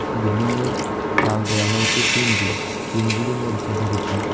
Building -এর চাল দেওয়া হয়েছে টিন দিয়ে টিন -গুলি মরিচা ধরেছে।